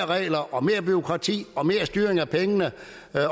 regler og mere bureaukrati og mere styring af pengene